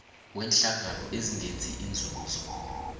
weenhlangano ezingenzi inzuzo